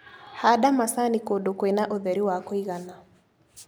Handa macani kũndũ kwĩna ũtheri wa kũigana.